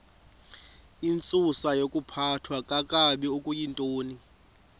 intsusayokuphathwa kakabi okuyintoni